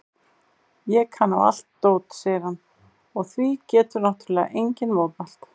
Ég kann á allt dót, segir hann og því getur náttúrlega enginn mótmælt.